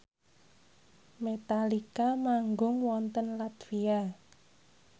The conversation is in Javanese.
Metallica manggung wonten latvia